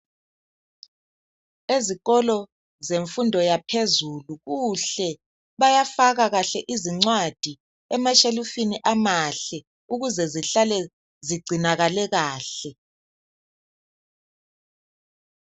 Ezikolo zemfundo yaphezulu kuhle bayafaka kahle izincwadi emashelufini amahle ukuze zihlale zigcinakale kahle.